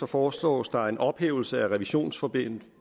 foreslås der en ophævelse af revisionsbestemmelserne